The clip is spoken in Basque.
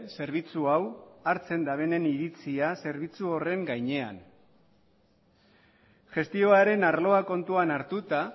zerbitzu hau hartzen dabenen iritzia zerbitzu horren gainean gestioaren arloa kontuan hartuta